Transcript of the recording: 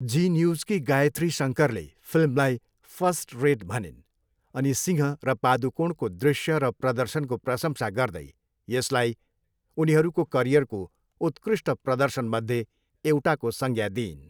जी न्यूजकी गायत्री शङ्करले फिल्मलाई 'फस्ट रेट' भनिन् अनि सिंह र पादुकोणको दृश्य र प्रदर्शनको प्रशंसा गर्दै यसलाई 'उनीहरूको करियरको उत्कृष्ट प्रदर्शनमध्ये एउटा'को संज्ञा दिइन्।